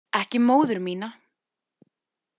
Ekki móður mína.